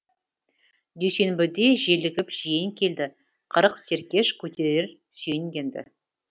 дүйсенбіде желігіп жиен келді қырық серкеш көтерер сүйенгенді